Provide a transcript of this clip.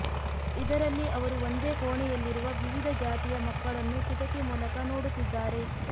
ಇದರಲ್ಲಿ ಅವರು ಒಂದೇ ಕೋಣೆಯಲ್ಲಿರುವ ವಿವಿಧ ಜಾತಿಯ ಮಕ್ಕಳನ್ನು ಕಿಟಕಿ ಮೂಲಕ ನೋಡುತ್ತಿದ್ದಾರೆ